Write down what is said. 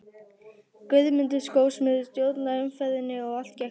Guðmundur skósmiður stjórnaði umferðinni og allt gekk vel.